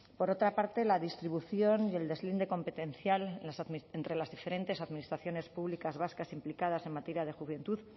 por otra parte la distribución y el deslinde competencial entre las diferentes administraciones públicas vascas implicadas en materia de juventud